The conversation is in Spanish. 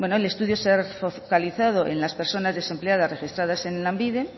bueno el estudio se ha fortalecido en las personas desempleadas registradas en lanbide